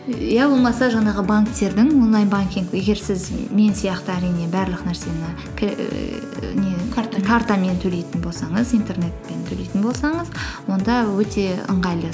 иә болмаса жаңағы банктердің онлайн банкинг егер сіз мен сияқты әрине барлық нәрсені картамен төйлейтін болсаңыз интернетпен төйлейтін болсаңыз онда өте ыңғайлы